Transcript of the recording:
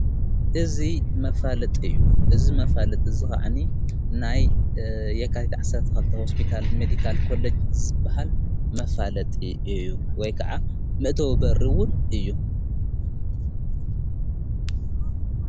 እዝ መፋለጥ እዩ ።እዝ መፋለጥ ዝኸዓኒ ናይ የካትትዕሠርተኸልተ ሆስቢታል ሜዲካል ኮለጅ ዝበሃል መፋለጥ እዩ ።ወይ ከዓ ምእተ ወበሪውን እዩ።